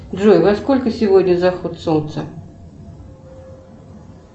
джой во сколько сегодня заход солнца